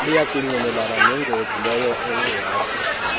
luyakungqinelana nengozi leyoethe